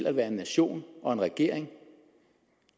at være en nation og en regering